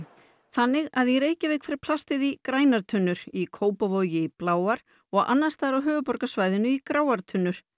þannig að í Reykjavík fer plastið í grænar tunnur í Kópavogi í bláar og annars staðar á höfuðborgarsvæðinu í gráar tunnur